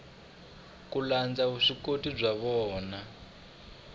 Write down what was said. ku landza vuswikoti bya vona